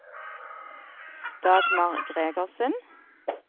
Dagmar Gregersen